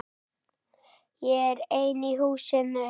Ég er einn í húsinu.